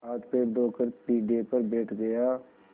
हाथपैर धोकर पीढ़े पर बैठ गया